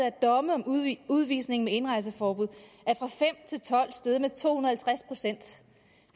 af domme om udvisning udvisning med indrejseforbud og tolv er steget med to hundrede